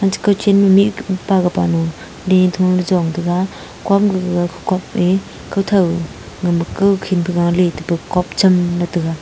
chi kachen ma mikh pa ga pa nu di thungley chong taiga kom gaga kopley kothou gama kawkhin phai galey tepa kopchem ley taiga.